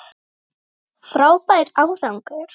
Frábær árangur